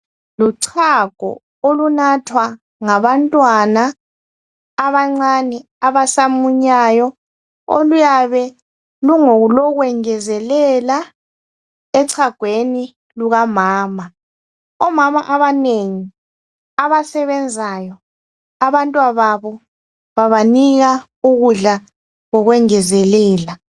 Luchago olunathwa ngabantwana abancane, abasamunyayo. Oluyabe lungolokwengezelela echagweni lukamama. Omama abanengi abasebenzayo abantwababo babanika ukudla kokwengezelela.